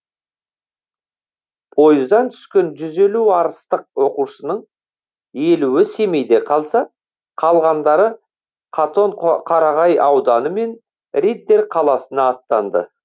пойыздан түскен жүз елу арыстық оқушының елуі семейде қалса қалғандары қатонқоқарағай ауданы мен риддер қаласына аттанды